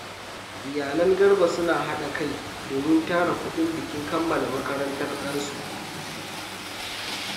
Iyalan Garba suna hada kai domin tara kudin bikin kammala makarantar ɗansu.